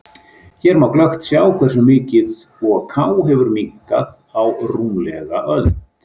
Hér má glöggt sjá hversu mikið Ok hefur minnkað á rúmlega öld.